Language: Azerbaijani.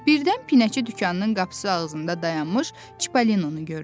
Birdən pinəçi dükanının qapısı ağzında dayanmış Çipollinonu gördü.